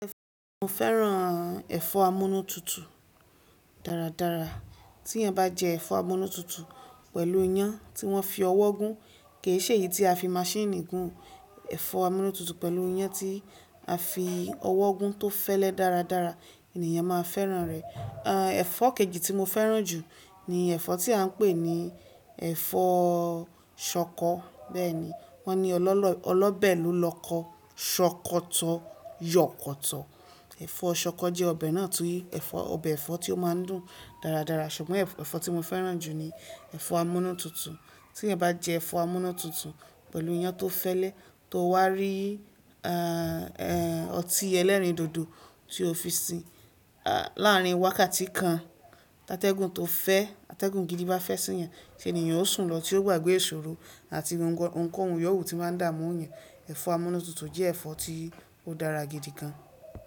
Mo fẹ́ràn ẹ̀fọ́ amúnútutù dáradára. Tí ẹyan bá jẹ ẹ̀fọ́ amúnútutù pẹ̀lú iyán tí wọ́n fi ọwọ́ gún, kì í ṣe èyí tí a fi maṣíìnì gún. Ẹ̀fọ́ amúnútutù pẹ̀lú iyán tí a fi ọwọ́ gún tó fẹ́lẹ́ dáradára, ènìyàn máa fẹ́ràn rẹ̀. Àn, ẹ̀fọ́ kejì tí mo fẹ́ràn jù ni ẹ̀fọ́ tí à ń pè ní ẹ̀fọ́ ṣọkọ. Bẹ́ẹ̀ ni, wón ní ọlọ́ ọlọ́ bẹ́ẹ̀ ló lọkọ̀, ṣọkọ̀tọ̀ yọ̀kọ̀tọ̀. Ẹ̀fọ́ ṣọkọ jẹ́ ọbẹ̀ náà tí ẹ̀fọ́ ọbẹ̀ ẹ̀fọ́ tí ó máa ń dùn dáradára. Ṣùgbọ́n ẹ̀fọ́ tí mo fẹ́ràn jù ni ẹ̀fọ́ amúnútutù. Tí ẹyan bá jẹ ẹ̀fọ́ amúnútutù pẹ̀lú iyán tó fẹ́lẹ́ tó wá rí àn, ẹ́, ọtí ẹlẹ́rìndòdò tí o fi sin. À, láàárín wákàtí kan, atẹ́gùn tó fẹ́, atẹ́gùn gidi bá fẹ́ sí i yan, ṣe ènìyàn ó sùn lọ tí ó gbàgbé ìṣòro àti ohun ko òhun yòwó tó máa ń dàámú eyan ẹ̀fọ́ amúnútutù jẹ́ ẹ̀fọ́ tí ó dára gidi gan.